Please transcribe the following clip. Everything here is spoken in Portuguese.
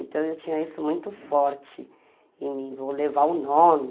Então eu tinha isso muito forte em mim, vou levar o nome.